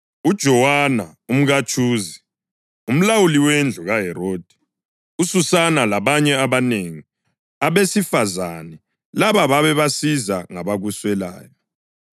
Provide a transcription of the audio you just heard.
uJowana umkaTshuza, umlawuli wendlu kaHerodi; uSusana labanye abanengi. Abesifazane laba babebasiza ngabakuswelayo.